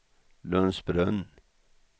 Lundsbrunn